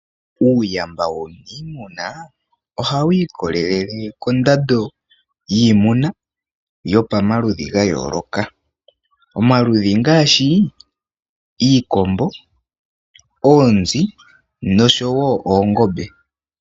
Uuyamba woniimuna oha wiikolele kondado yiimuna yo pamaludhi gayooloka .omaludhi ngaashi iikombo, oonzi nosho woo oongobe.